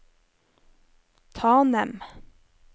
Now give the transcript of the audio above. Tanem